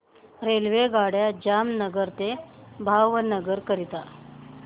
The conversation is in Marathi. रेल्वेगाड्या जामनगर ते भावनगर करीता